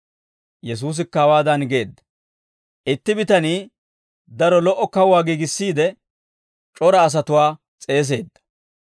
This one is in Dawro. Yesuusikka hawaadan geedda; «Itti bitanii daro lo"o kawuwaa giigissiide, c'ora asatuwaa s'eeseedda.